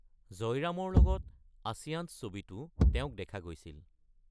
জয়ৰামৰ লগত আচয়ান্স ছবিতো তেওঁক দেখা গৈছিল।